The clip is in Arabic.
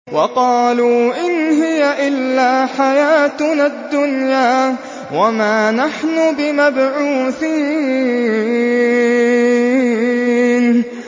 وَقَالُوا إِنْ هِيَ إِلَّا حَيَاتُنَا الدُّنْيَا وَمَا نَحْنُ بِمَبْعُوثِينَ